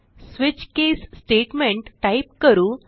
switch case statement type करू